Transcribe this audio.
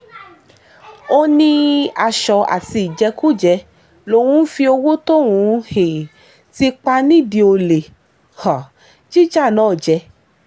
ó ní aṣọ àti ìjẹkújẹ lòun ń fi owó tóun um ti pa nídìí olè um jíjà náà jẹ